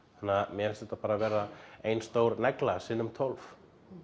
þannig að mér finnst þetta bara vera ein stór negla sinnum tólf